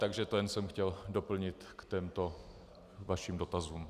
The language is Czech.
Takže to jsem jen chtěl doplnit k těmto vašim dotazům.